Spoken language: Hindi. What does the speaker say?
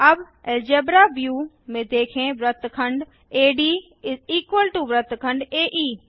अब अलजेब्रा व्यू में देखें वृत्तखंड AD वृत्तखंड एई